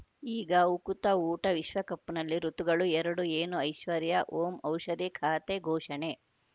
ಈಗ ಉಕುತ ಊಟ ವಿಶ್ವಕಪ್‌ನಲ್ಲಿ ಋತುಗಳು ಎರಡು ಏನು ಐಶ್ವರ್ಯಾ ಓಂ ಔಷಧಿ ಖಾತೆ ಘೋಷಣೆ